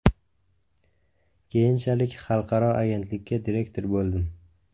Keyinchalik xalqaro agentlikka direktor bo‘ldim.